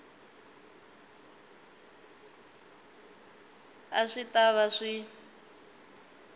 a swi ta va swi